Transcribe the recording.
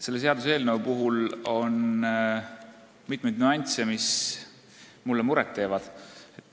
Selle seaduseelnõu puhul on mitmeid nüansse, mis mulle muret teevad.